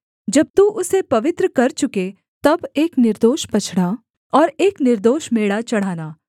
जब तू उसे पवित्र कर चुके तब एक निर्दोष बछड़ा और एक निर्दोष मेढ़ा चढ़ाना